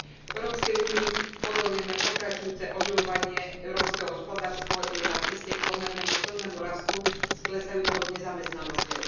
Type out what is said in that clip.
V Európskej únii pozorujeme pokračujúce oživovanie európske hospodárstvo je na ceste k pomernému silnému rastu s klesajúcou nezamestnanosťou.